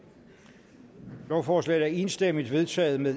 lovforslaget er enstemmigt vedtaget med